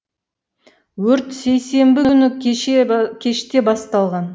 өрт сейсенбі күні кеште басталған